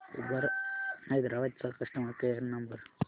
Uber Hyderabad चा customer care number